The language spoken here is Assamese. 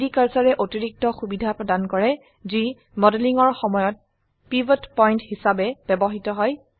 3ডি কাৰ্সাৰে অতিৰিক্ত সুবিধা প্ৰদান কৰে যি মডেলিং এৰ সময়ত পিভত পয়েন্ট হিসাবে ব্যবহৃত হয়